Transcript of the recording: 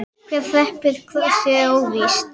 Hver hreppir hnossið er óvíst.